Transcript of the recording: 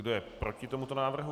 Kdo je proti tomuto návrhu.